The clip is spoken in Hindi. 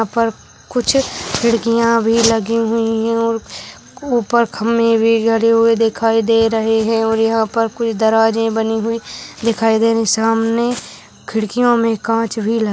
यहाँ पर कुछ खिड़कियां भी लगी हुई है और ऊपर खम्बे भी गड़े हुए दिखाई दे रहे है और यहाँ पर कोई दराजे बनी हुई दिखाई दे रही सामने खिड़कियों में कांच भी लगे--